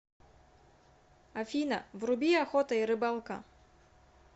афина вруби охота и рыбалка